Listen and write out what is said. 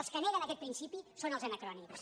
els que neguen aquest principi són els anacrònics